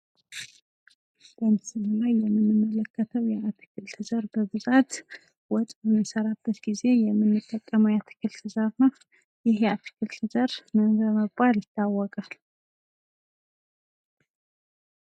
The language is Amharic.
ምስሉ ላይ የምንመለከተው ብዙ ጊዜ ወጥ ስንሰራ የምንጠቀመው አትክልት ሲሆን ምን በመባል ይታወቃል?